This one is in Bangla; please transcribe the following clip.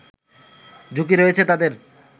ঝুঁকি রয়েছে তাদের